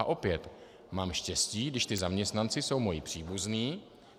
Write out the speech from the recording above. A opět, mám štěstí, když ti zaměstnanci jsou moji příbuzní.